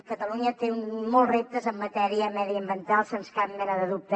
catalunya té molts reptes en matèria mediambiental sense cap mena de dubte